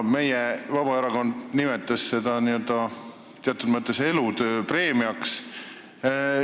Vabaerakond nimetas seda teatud mõttes elutööpreemiaks.